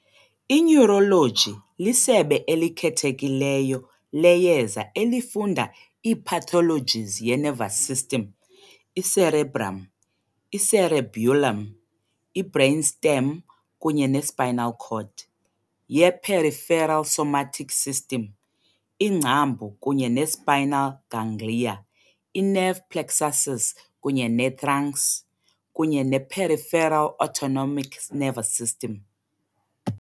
I-Neurology lisebe elikhethekileyo leyeza elifunda i-pathologies ye-nervous system i-cerebrum, i-cerebellum, i-brainstem kunye ne- spinal cord, ye-peripheral somatic system iingcambu kunye ne-spinal ganglia, i-nerve plexuses kunye ne-trunks kunye ne-peripheral autonomic nervous system.